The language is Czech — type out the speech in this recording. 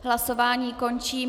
Hlasování končím.